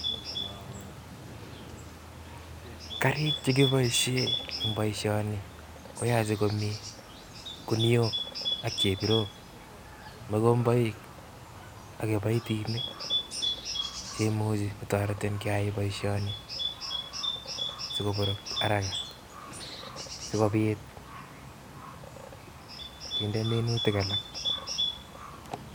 Karik che kiboishe eng' boishoni koyache komi kuniok ak chebirok, mugomboik ak kibaitinik che imuchi kotoretin keyoe boisioni sikoborok haraka sikobiit kinde minutik alak.